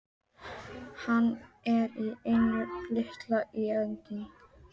Hann er í engu tilliti sinn eiginn.